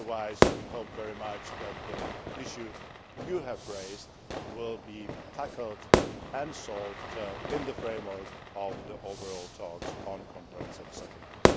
Otherwise, we hope very much that the issue which you have raised will be tackled and solved in the framework of the overall talks on the comprehensive settlement.